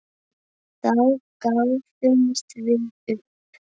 Þá gáfumst við upp.